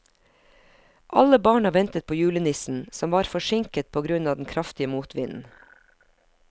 Alle barna ventet på julenissen, som var forsinket på grunn av den kraftige motvinden.